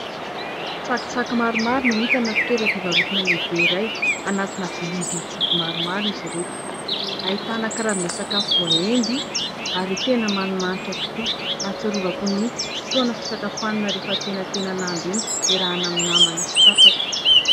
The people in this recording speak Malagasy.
Tsakitsaky maromaro no hita anaty toeram-pivarotana lehibe iray, anatina vilia vy joby maromaro izy ireto. Ahitana karazana sakafo voaendy ary tena manimanitra tokoa. Ahatsiarovako ny fotoana fisakafoanana rehefa antenantenan'andro iny, iarahana amin'ny namana sy tapaka.